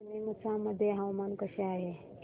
आज नीमच मध्ये हवामान कसे आहे